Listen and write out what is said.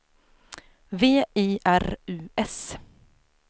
V I R U S